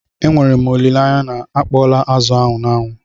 E nwere m olile anya na akpọọla azụ n'anwụ?